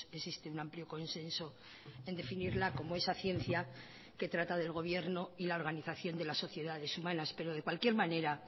existe un amplio consenso en definirla como esa ciencia que trata del gobierno y la organización de las sociedades humanas pero de cualquier manera